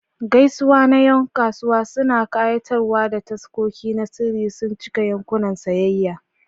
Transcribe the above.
Gaisuwa na Yan kasuwa masu kayatarwa da taskoki na sirri sun cika yankunan sayayya.